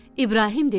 İbrahim dedi: